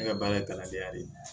Ne ka baara ye kalandenya de ye